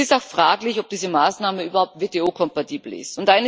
Es ist auch fraglich, ob diese Maßnahme überhaupt WTO kompatibel ist.